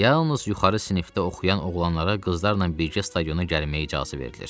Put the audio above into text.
Yalnız yuxarı sinifdə oxuyan oğlanlara qızlarla birgə stadiona gəlməyə icazə verilir.